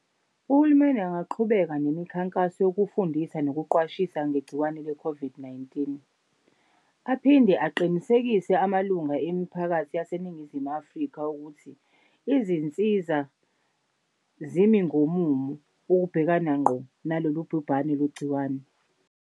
Uhulumeni angaqhubeka nemikhankaso yokufundisa nokuqwashisa ngegciwane le-COVID-19, aphinde aqinisekise amalunga emiphakathi yaseNingizimu Afrika ukuthi izinsiza zimi ngomumo ukubhekana ngqo nalolu bhubhane lwegciwane.